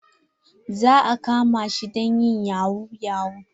Za a kama shi don yin yahu yahu.